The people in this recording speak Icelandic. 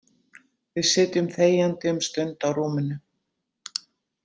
Við sitjum þegjandi um stund á rúminu.